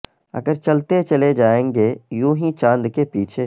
اگر چلتے چلے جائیں گے یوں ہی چاند کے پیچھے